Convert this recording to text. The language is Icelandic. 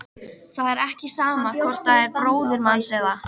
Það er ekki sama hvort það er bróðir manns eða.